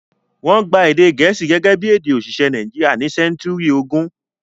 Wọ́n gba èdè Gẹ̀ẹ́sì gẹ́gẹ́ bí èdè òṣìṣẹ́ Nàìjíríà ní sẹ́ńtúrì ogún.